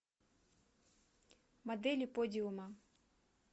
модели подиума